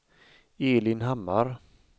Elin Hammar